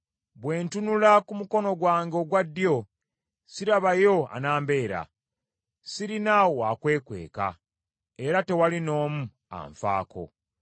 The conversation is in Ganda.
Bwe ntunula ku mukono gwange ogwa ddyo, sirabayo anambeera; sirina wa kwekweka, era tewali n’omu anfaako.